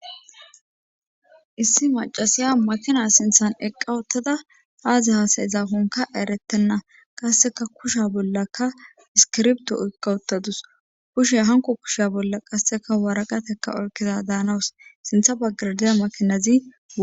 Issi macasiya makina sinthan eqqa uttada aazi haasayizaakonkka eretenna. qasseka kusha bollaka iskirbto oykka uttadus. kushe hanko kusha bolla qasseka waaraqataka oykidada hanawus sintha baggara diya makinazi.